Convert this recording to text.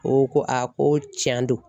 O ko a ko tiɲɛ don